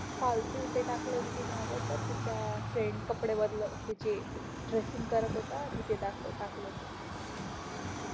फालतू ते टाकल होत त्यांनी आता बघ त्याच फ्रेइन्ड कपडे बदलत ते ड्रेससिंग करत होता टाकल होत